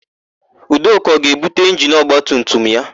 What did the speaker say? Udoka ọ ga-ebute injini ọgbatumtum ya?